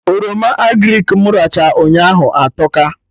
Oroma agrịk mụ rachaa ụnyaahụ atọka